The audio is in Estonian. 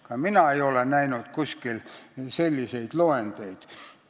Ka mina ei ole kuskil selliseid loendeid näinud.